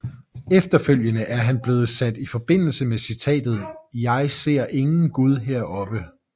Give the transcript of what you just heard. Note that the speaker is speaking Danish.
Efterfølgende er han blevet sat i forbindelse med citatet Jeg ser ingen Gud heroppe